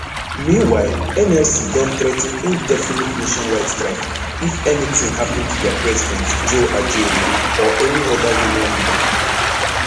meanwhile nlc don threa ten indefinite nationwide strike if anytin happun to dia president joe ajaero or any oda union leader